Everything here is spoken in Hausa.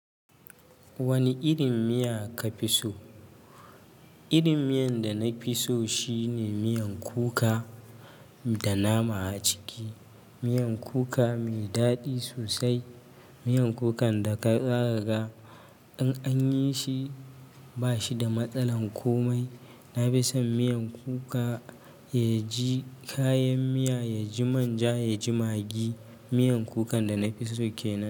Wani irin miya kafi so? Irin miyan da nafi so shine miyan kuka da nama a ciki. Miyan kuka mai daɗi sosai. Miyan kukan da ka ƙara ga In anyi shi ba shi da matsalan komai. Na fi son miyan kuka, ya ji kayan miya, ya ji manja, ya ji magi. Miyan kukan da nafi so kenan.